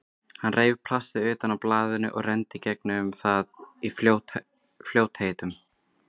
Hún reif plastið utan af blaðinu og renndi í gegnum það í fljótheitum.